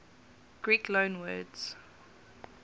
greek loanwords